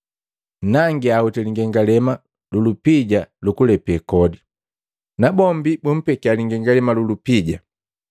Nangia hoti lingengalema lu lupija lukulepe kodi!” Nabombi bumpekia lingengalema lu lupija.